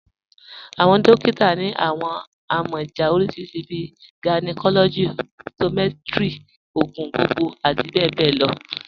Awọn dòkìtà ni awọn amọja oríṣiríṣí bíi gynecology, optometry, ogun gbogbogbo ati bẹbẹ lọ.